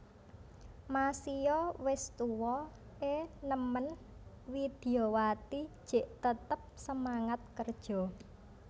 Masio wes tuwa e nemen Widyawati jek tetep semangat kerja